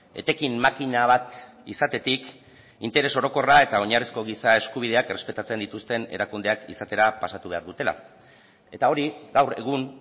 etekin makina bat izatetik interes orokorra eta oinarrizko giza eskubideak errespetatzen dituzten erakundeak izatera pasatu behar dutela eta hori gaur egun